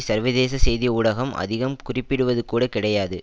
சர்வதேச செய்தி ஊடகம் அதிகம் குறிப்பிடுவதுகூடக் கிடையாது